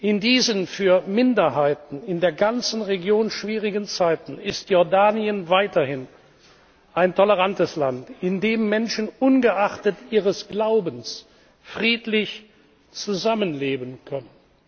In diesen für Minderheiten in der ganzen Region schwierigen Zeiten ist Jordanien weiterhin ein tolerantes Land, in dem Menschen ungeachtet ihres Glaubens friedlich zusammenleben können.